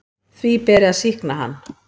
Því beri að sýkna hann.